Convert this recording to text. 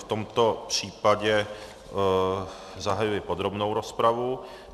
V tom případě zahajuji podrobnou rozpravu.